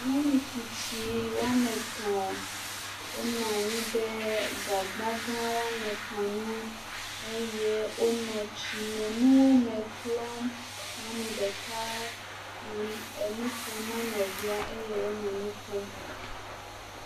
Nyɔnu tsitsi woame etɔ̃ wonɔ anyi ɖe gagba gã woame etɔ̃ ŋu eye wonɔ tsinonuwo me klɔm. Nyɔnu ɖeka le nu ƒom na nɔvia eye wonɔ nu ƒom.